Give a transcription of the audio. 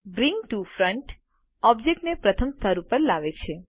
bring to front ઓબ્જેક્ટને પ્રથમ સ્તર ઉપર લાવે છે